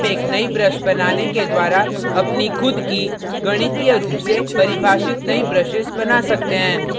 आप एक नई brush बनाने के द्वारा अपनी खुद की गणितीय रूप से परिभाषित नई brushes बना सकते हैं